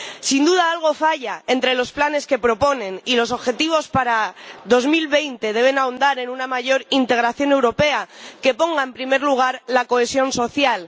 Sin duda, algo falla entre los planes que proponen y los objetivos para 2020, que deben ahondar en una mayor integración europea, que ponga en primer lugar la cohesión social.